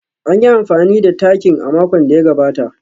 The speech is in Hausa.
An yi amfani da takin a makon da ya gabata